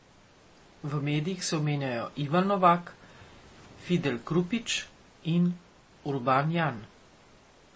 V medijih se omenjajo Ivan Novak, Fidel Krupić in Urban Jan.